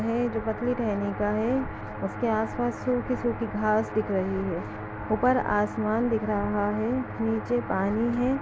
है जो पतली टहनी का है उसके आस पास छोटी छोटी घास दिख रही है। ऊपर आसमान दिख रहा है नीचे पानी है।